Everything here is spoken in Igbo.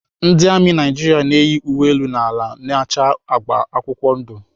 Ndị amị Naijiria na-eyi uwe elu na ala na-acha agba akwụkwọ ndụ.